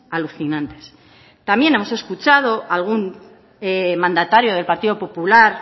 alucinantes también hemos escuchado a algún mandatario del partido popular